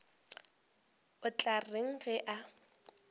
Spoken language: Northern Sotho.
o tla reng ge a